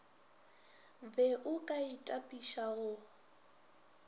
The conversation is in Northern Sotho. be o ka itapiša go